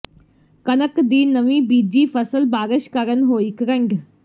ਕਣਕ ਦੀ ਨਵੀਂ ਬੀਜੀ ਫ਼ਸਲ ਬਾਰਸ਼ ਕਾਰਨ ਹੋਈ ਕਰੰਡ